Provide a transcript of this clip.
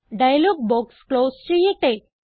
dialogue box close ചെയ്യട്ടെ